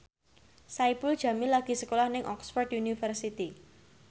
Saipul Jamil lagi sekolah nang Oxford university